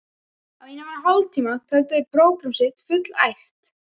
Á innan við hálftíma töldu þeir prógramm sitt fullæft.